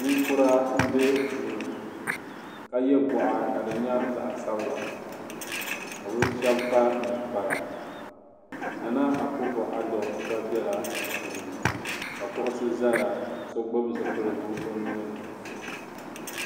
Ninkura m-be duu ka ye gɔɣa ka di nyɛ zaɣ'sabila ka bɛ shɛba kpa ninkpara Nana Akuffo Addo gba bela di puuni ka kuɣusi zaya ka so gbubi zipiligu o nuu ni.